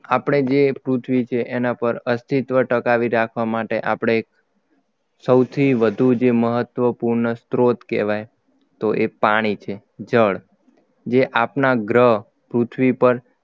આપણે જે પૃથ્વી છે એના પર અસ્તિત્વ ટકાવી રાખવા માટે આપણે સૌથી વધુ જે મહત્વપૂર્ણ સ્ત્રોત કહેવાય તો એ પાણી છે જળ જે આપના ગ્રહ પૃથ્વી પર